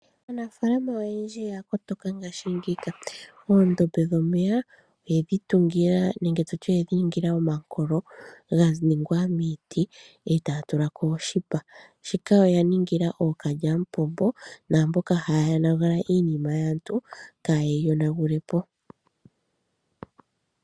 Aaanafalma oyendji oya kotoka ngashingeyi, oondombe dhomeya oyedhi tungila nenge tutye oyedhi tula omankolo ganingwa miiti eta ya tula ko oshipa, shika osha ningilwa okalyampombo na mboka haya yoonagula iinima yaantu kaye yi yoonagule po.